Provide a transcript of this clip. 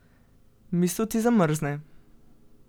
Misel ti zamrzne.